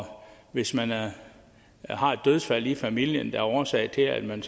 hvis man har et dødsfald i familien der er årsag til at man